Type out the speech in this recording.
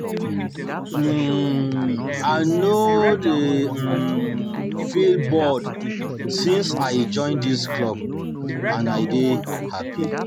um I no um dey um feel bored since I join dis club and I dey dey happy